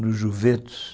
no Juventus.